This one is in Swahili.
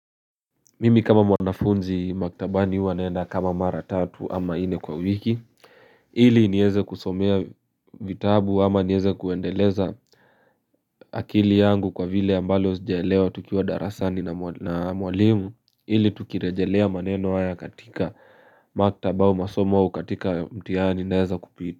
Mimi kama mwanafunzi maktabani huw naenda kama mara tatu ama nne kwa wiki hili nieze kusomea vitabu ama nieze kuendeleza akili yangu kwa vile ambalo zijalewa tukiwa darasani na mwalimu hili tukirejelea maneno haya katika maktabau masomau katika mtihani na weza kupita.